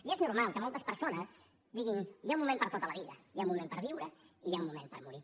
i és normal que moltes persones diguin hi ha un moment per a tot a la vida hi ha un moment per viure i hi ha un moment per morir